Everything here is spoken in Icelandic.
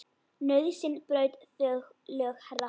Nauðsyn braut þau lög, herra.